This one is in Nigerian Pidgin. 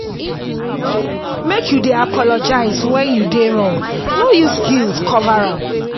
make you dey apologize wen you do wrong no use guilt cover am.